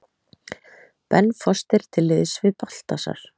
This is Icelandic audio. Ben Foster til liðs við Baltasar